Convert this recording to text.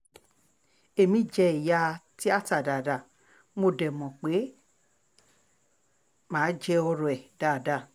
èmi jẹ̀yà tìata dáadáa mo dé mọ̀ pé èmi máa jẹ́ ọ̀rọ̀ ẹ dáadáa